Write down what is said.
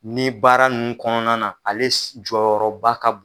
Ni baara ninnu kɔnɔna na ale jɔyɔrɔba ka bon